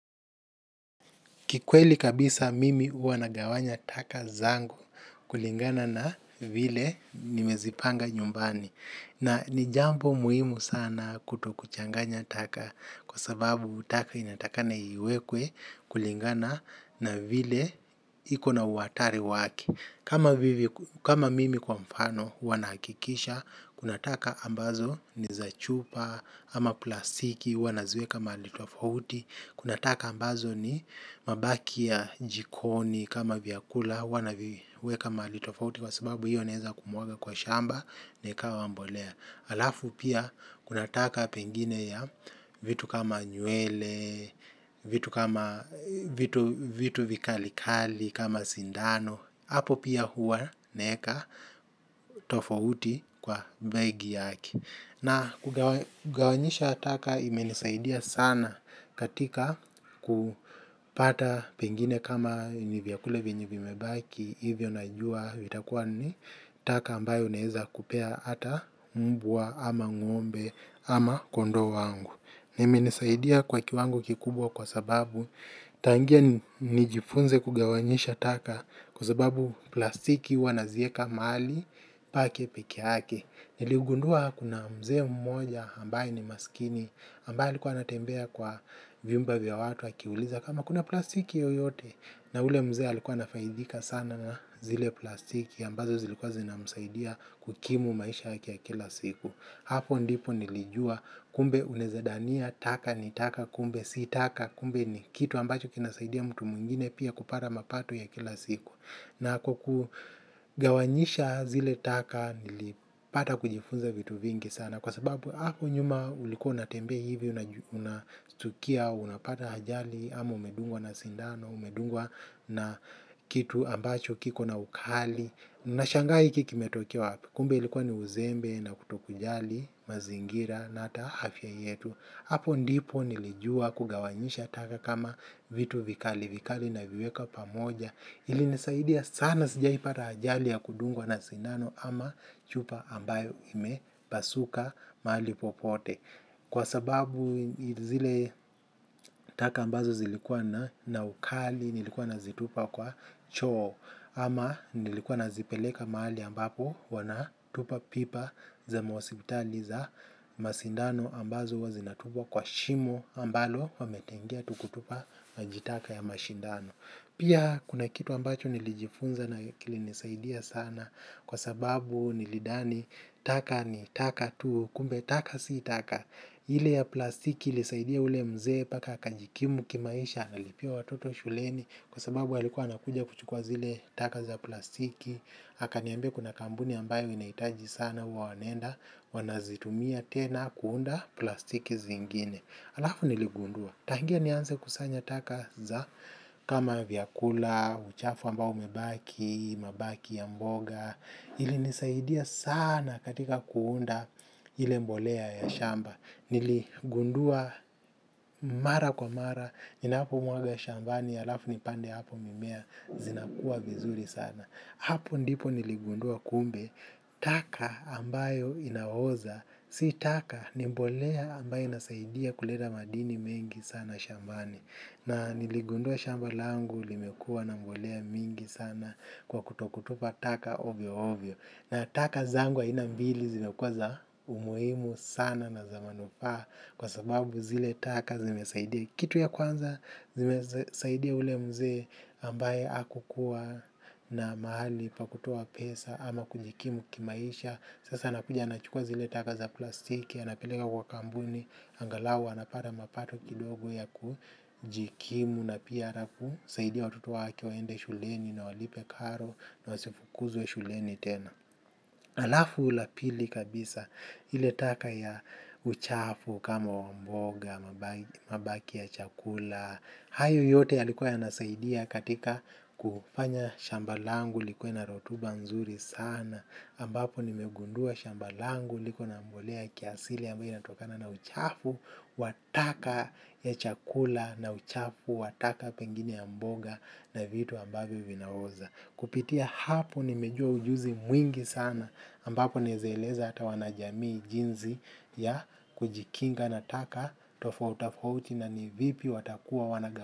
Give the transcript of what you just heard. Kikweli kabisa, mimi uanagawanya taka zangu kulingana na, vile nimezipanga nyumbani. Na ni jambo muhimu sana, kutokuchanaganya taka, kwa sababu taka inatakana iwekwe, kulingana, na vile, iko na uhatari wake. Kama vivyo, kama mimi, kwa mfano. Huwa nahakikisha kuna taka ambazo ni za chupa ama plasiki. Hua naziweka mahali tofauti, kunataka ambazo ni, mabaki ya jikoni, kama viakula huwa naviweka mahali tofauti kwa sababu hiyo neza kumuwaga kwa shamba, na ikawa mbolea. Alafu, pia, kunataka pengine ya, vitu kama nywele, vitu vikalikali kama sindano, hapo pia hua naeka tofauti kwa, begi yake. Na, kugawanisha taka imenisaidia sana, katika kupata pengine kama, ni vyakula vyenye vimebaki, hivyo najua, vitakuwa ni taka ambayo neeza kupea ata mbwa, ama ngombe ama kondoo wangu. Naimenisaidia kwa kiwango kikubwa kwa sababu, tangia nijifunze kugawanyisha taka, kwa sababu, plasiki huwa nazieka mahali pake peke yake. Niliugundua kuna mzee mmoja ambaye, ni masikini ambaye alikuwa anatembea kwa vyumba vya watu akiuliza kama kuna plasiki yeyote? Na ule mzee alikuwa anafaidhika sana na zile plasiki ambazo zilikuwa zinamsaidia kukimu maisha yake ya kila siku. Hapo ndipo nilijua, kumbe unezadania taka ni taka kumbe si taka kumbe ni kitu ambacho kinasaidia mtu mwingine pia kupara mapato ya kila siku. Na kukugawanyisha zile taka nilipata kujifunza vitu vingi sana, kwa sababu, hapo nyuma, ulikua unatembea hivi unastukia unapata hajali ama, umedungwa na sindano umedungwa na kitu ambacho kiko na ukali. Nashangaa hiki kimetokea wapi? Kumbe ilikuwa ni uzembe na kutoku jali, mazingira na ata afya yetu. Apo ndipo nilijua kugawanyisha taka kama vitu vikali, vikali na viweka pamoja. Ili nisaidia sana, sijaipata ajali ya kudungwa na sindano ama, chupa ambayo imepasuka, mahali popote. Kwa sababu zile taka ambazo zilikuwa na ukali, nilikuwa na zitupa kwa choo. Ama, nilikua nazipeleka mahali ambapo, wanatupa pipa za mahosipitali za masindano, ambazo huwa zinatupwa kwa shimo, ambalo wametengea tu kutupa maji taka ya mashindano. Pia, kuna kitu ambacho nilijifunza na kili nisaidia sana kwa sababu, nilidani taka, ni taka tu kumbe taka si taka. Ile ya plasiki ilisaidia ule mzee paka akajikimu kimaisha na lipia watoto shuleni kwa sababu alikuwa anakuja kuchukua zile, taka za plasiki. Aka niambia kuna kambuni ambayo inaitaji sana huwa wanaenda, wanazitumia tena kuunda, plastiki zingine. Alafu niligundua, tangia nianze kusanya taka za kama vyakula, uchafu ambao umebaki, mabaki ya mboga, ilinisaidia sana, katika kuunda ile mbolea ya shamba, niligundua, mara kwa mara, ninapomwaga shambani, alafu nipande apo mimea, zinakua vizuri sana. Hapo ndipo niligundua kumbe, taka ambayo inaoza, si taka, nimbolea ambayo inasaidia kuleta madini mengi sana shambani. Na, niligundua shambalangu limekua na mbolea mingi sana, kwa kutokutupa taka ovyo ovyo. Na taka zangu aina mbili zimekuwa za, umuhimu sana na za manufaa, kwa sababu zile taka zimesaidia kitu ya kwanza, zimesaidia ule mzee, ambaye akukua na mahali pakutoa pesa, ama kujikimu kimaisha. Sasa anakuja anachukua zile taka za plastiki, anapeleka kwa kambuni. Angalau anapara mapato kidogo ya kujikimu na piya arafu saidia watoto wake, waende shuleni na walipe karo na wasifukuzwe shuleni tena. Alafu, la pili kabisa ile taka ya uchafu kama wamboga, mabaki ya chakula. Hayo yote yalikuwa yanasaidia katika, kufanya shamba langu likuwe na rotuba nzuri sana. Ambapo nimegundua shambalangu likuwa na mbolea kiasili ambayo inatokana na uchafu wataka ya chakula na uchafu wataka pengine ya mboga na vitu ambayo vinaoza. Kupitia hapo, nimejua ujuzi mwingi sana, ambapo naezaeleza hata wanajamii jinzi ya, kujikinga na taka, tofo tafauti uchi na nivipi watakuwa wanagawa.